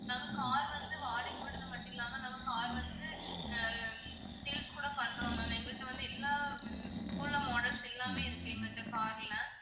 நாங்க car வந்து வாடகைக்கு விடுறது மட்டும் இல்லாம நம்ம car வந்து ஆஹ் sales கூட பண்றோம் ma'am எங்ககிட்ட வந்து எல்லா ஹம் இப்போ உள்ள models எல்லாமே இருக்கு எங்ககிட்ட car ல